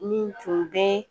Min tun bɛ